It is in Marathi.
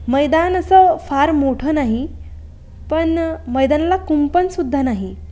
मैदान अस फार मोठ नाही. पण मैदानला कुंपण सुद्धा नाही.